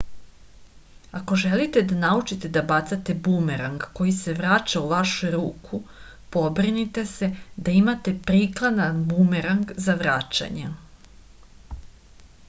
ako želite da naučite da bacate bumerang koji se vraća u vašu ruku pobrinite se da imate prikladan bumerang za vraćanje